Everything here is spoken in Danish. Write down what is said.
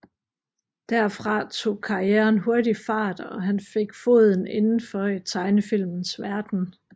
Derfra tog karrieren hurtigt fart og han fik foden indenfor i tegnefilmens verden